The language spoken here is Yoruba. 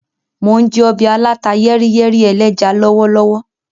Mo n jẹ ọbẹ aláta-yẹ́ríyẹ́rí ẹlẹ́ja lọwọlọwọ.